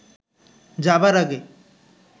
যাবার আগে